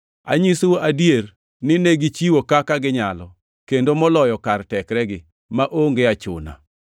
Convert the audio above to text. Anyisou adier ni negichiwo kaka ginyalo, kendo moloyo kar tekregi, maonge achuna.